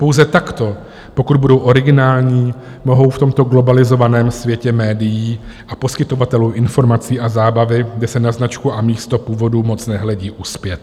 Pouze takto, pokud budou originální, mohou v tomto globalizovaném světě médií a poskytovatelů informací a zábavy, kde se na značku a místo původu moc nehledí, uspět.